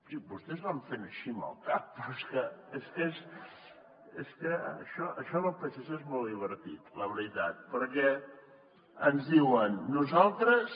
sí vostès van fent així amb el cap però és que això del psc és molt divertit la veritat perquè ens diuen nosaltres